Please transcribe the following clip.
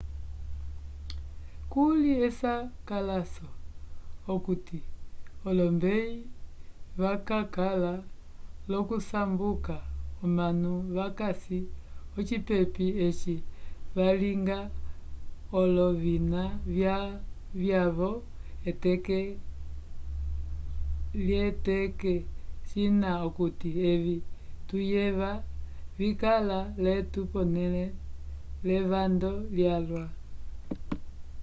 kuli esakalaso okuti olombeyi vakakala l'okusamboka omanu vakasi ocipepi eci valinga olovina vyavo eteke l'eteke cina okuti evi tuyeva vikala l'etu pole levando lyalwa